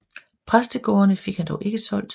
Præstegårdene fik han dog ikke solgt